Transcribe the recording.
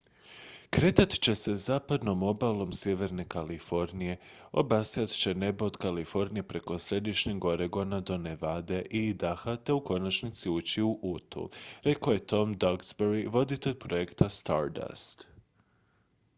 """kretat će se zapadnom obalom sjeverne kalifornije obasjat će nebo od kalifornije preko središnjeg oregona do nevade i idaha te u konačnici ući u utu" rekao je tom duxbury voditelj projekta stardust.